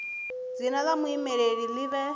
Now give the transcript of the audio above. dzina la muvhilaleli li vhe